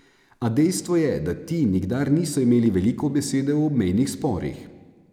A dejstvo je, da ti nikdar niso imeli veliko besede v obmejnih sporih.